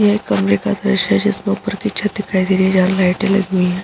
यह एक कमरे का दृश्य है जिस में उपर की छत दिखाई दे रही है जहाँ लाईटे लगी हैं।